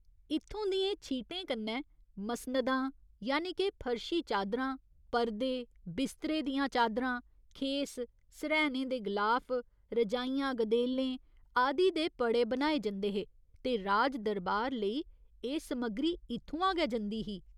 इत्थूं दियें छीटें कन्नै मसनदां यानि के फर्शी चादरां, पर्दे, बिस्तरे दियां चादरां, खेस, सर्हैनें दे गलाफ, रजाइयां गदेलें आदि दे पड़े बनाए जंदे हे ते राजदरबार लेई एह् समग्री इत्थुआं गै जंदी ही।